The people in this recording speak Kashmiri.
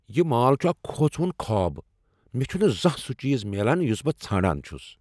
یہ مال چھ اکھ كھوژوُن خواب۔ مےٚ چُھنہٕ زانٛہہ سُہ چیز میلان یُس بہٕ ژھانڑان چُھس۔